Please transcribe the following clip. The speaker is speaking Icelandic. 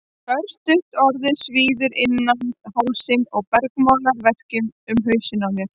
Örstutt orðið svíður innan hálsinn og bergmálar verkjum um hausinn á mér.